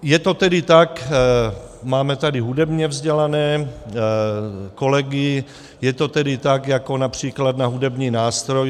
Je to tedy tak - máme tady hudebně vzdělané kolegy - je to tedy tak jako například na hudební nástroj.